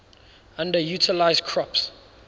underutilized crops